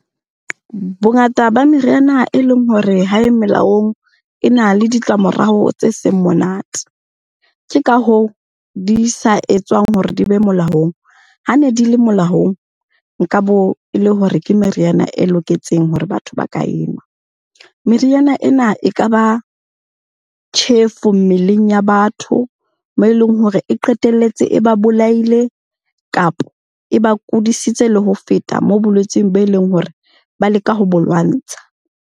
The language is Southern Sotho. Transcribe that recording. Bongata ba meriana e leng hore ha e melaong, e na le ditlamorao tse seng monate. Ke ka hoo di sa etswang hore di be molaong, ha ne di le molaong nka bo e le hore ke meriana e loketseng hore batho ba ka e nwa. Meriana ena e kaba tjhefo mmeleng ya batho, moo eleng hore e qetelletse e ba bolaile kapa eba kudisitse le ho feta moo bolwetseng be leng hore ba leka ho bo lwantsha.